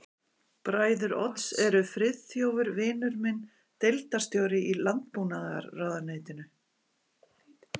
Bræður Odds eru Friðþjófur vinur minn, deildarstjóri í landbúnaðarráðuneytinu